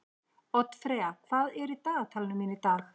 Oddfreyja, hvað er í dagatalinu mínu í dag?